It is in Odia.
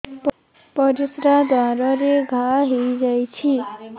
ପରିଶ୍ରା ଦ୍ୱାର ରେ ଘା ହେଇଯାଇଛି